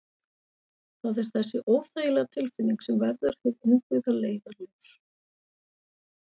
Það er þessi óþægilega tilfinning sem verður hið innbyggða leiðarljós.